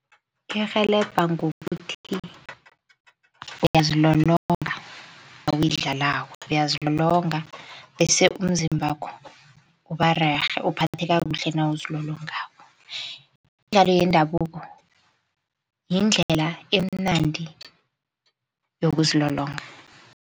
Iyarhelebha ngokuthi uyazilolonga nawuyidlalako uyazilolonga, bese umzimbakho ubarerhe uphatheka kuhle nawuzilolongako. Imidlalo yendabuko yindlela emnandi yokuzilolonga.